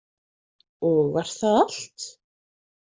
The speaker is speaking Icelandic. Og var það allt?